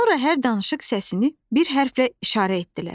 Sonra hər danışıq səsini bir hərflə işarə etdilər.